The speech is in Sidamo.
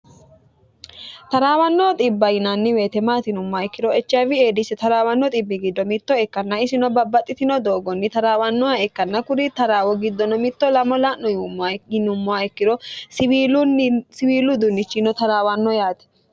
taraawanno xibba yinanni weete maati yinummoha ikkiro echiayiwi taraawanno xibba giddo mitto ikkanna isino babbaxitino doogonni taraawanno ikkanna kuri doogo giddonni mitto lame la'no yuummaha ikkiro isinno siwiilu uduunichinino taraawanno yaate